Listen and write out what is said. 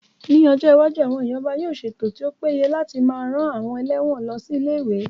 Ní ọjọ́ iwájú, àwọn ìjọba yóò ṣètò tí ó péye láti máa rán àwọn ẹlẹ́wọ̀n lọ sí ilé-ìwé